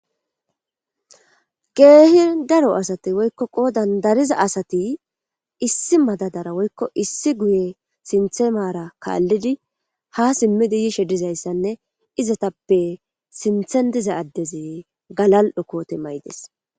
Kehi daro asati woyikko qodan dariza asati issi madadara woyikko issi guye sinta mara kalidi ha simidi yishe dizayisane izayitape sinten diza addezi galal'o kote mayides.